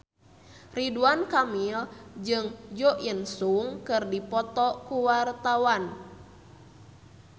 Ridwan Kamil jeung Jo In Sung keur dipoto ku wartawan